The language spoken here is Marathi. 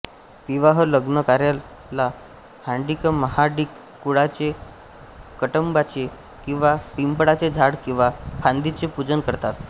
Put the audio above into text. विवाहलग्नकार्याला ह्माडिकमहाडिक कुळाचे कळंबाचे किंवा पिंपळाचे झाड किंवा फांदीचे पूजन करतात